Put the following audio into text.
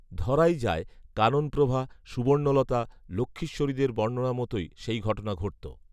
ধরাই যায় কাননপ্রভা, সুবর্ণলতা, লক্ষ্মীশ্বরীদের বর্ণনা মতোই সেই ঘটনা ঘটত